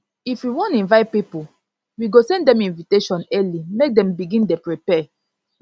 if we wan invite pipo we go send dem invitation early make dem begin dey prepare